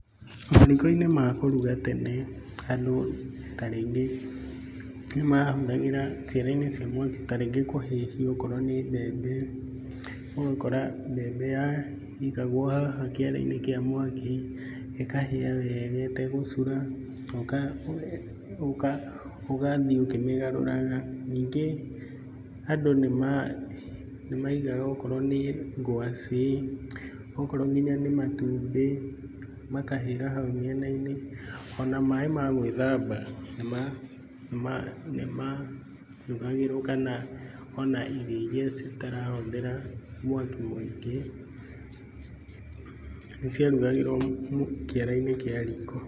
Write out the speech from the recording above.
Mariko-inĩ ma kũruga tene andũ ta rĩngĩ nĩ mahũthagĩra ciara-inĩ cia mwaki ta rĩngĩ kũhĩhia okorwo nĩ mbembe, ũgakora mbembe yaigagwo haha kĩara-inĩ kĩa mwaki ĩkahĩa wega ĩtegũcura na ũgathiĩ ũkĩmĩgaruraga. Na ningĩ andũ nĩ maigaga okorwo nĩ ngwacĩ okorwo nginya nĩ matumbĩ makahĩra hau mĩena-inĩ ona maaĩ ma gwĩthamba nĩma hiũhagĩrio kana ona irio iria citarahũthĩra mwaki mũingĩ, nĩ ciarugagĩrwo kĩara-inĩ kĩa riko.